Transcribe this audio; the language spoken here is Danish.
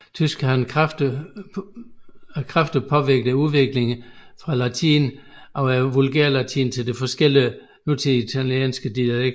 Tysk har kraftigt påvirket udviklingen fra latin over vulgærlatin til de forskellige nutidige italienske dialekter